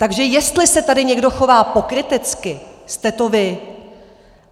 Takže jestli se tady někdo chová pokrytecky, jste to vy.